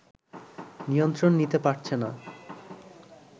নিয়ন্ত্রণ নিতে পারছে না